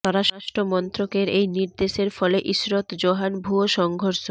স্বরাষ্ট্র মন্ত্রকের এই নির্দেশের ফলে ইশরত জহান ভুয়ো সংঘর্ষ